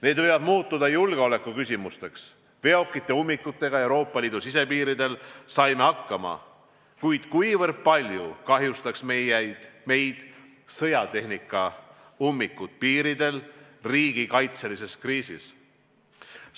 Need võivad muutuda julgeolekuküsimusteks: veokite ummikuga Euroopa Liidu sisepiiridel saime hakkama, aga kui palju kahjustaks meid sõjatehnika ummikud piiridel riigikaitselise kriisi ajal?